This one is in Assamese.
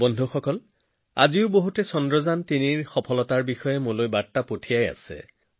বন্ধুসকল আজিও বহুতে মোলৈ চন্দ্ৰযান৩ৰ সফলতাৰ বিষয়ে বাৰ্তা প্ৰেৰণ কৰিছে